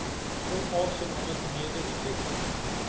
onaangename newe effekte